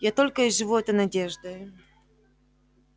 я только и живу этой надеждою